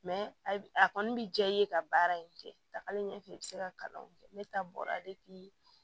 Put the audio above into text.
a kɔni bɛ diya i ye ka baara in kɛ dakari ɲɛ fɛ i bɛ se ka kalanw kɛ ne ta bɔra